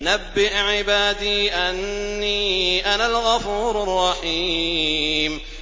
۞ نَبِّئْ عِبَادِي أَنِّي أَنَا الْغَفُورُ الرَّحِيمُ